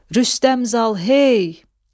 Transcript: Rüstəm Zal, hey!